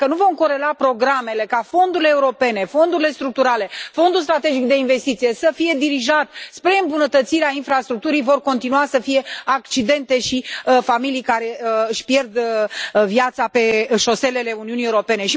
Dacă nu vom corela programele, ca fondurile europene, fondurile structurale, fondul strategic de investiție să fie dirijat spre îmbunătățirea infrastructurii vor continua să fie accidente și familii care își pierd viața pe șoselele Uniunii Europene.